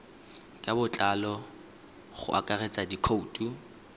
ka botlalo go akaretsa dikhoutu